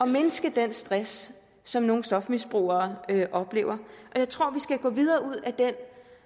mindske den stress som nogle stofmisbrugere oplever jeg tror vi skal gå videre